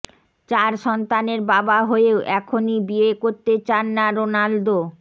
চার সন্তানের বাবা হয়েও এখনই বিয়ে করতে চান না রোনালদো